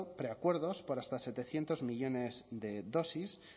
preacuerdos por hasta setecientos millónes de dosis